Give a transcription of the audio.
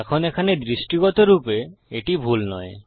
এখন এখানে দৃষ্টিগত রূপে এটি ভুল নয়